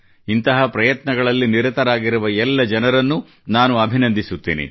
ಇಂತಹ ಪ್ರಯತ್ನಗಳಲ್ಲಿ ನಿರತರಾಗಿರುವ ಎಲ್ಲ ಜನರನ್ನು ನಾನು ಅಭಿನಂದಿಸುತ್ತೇನೆ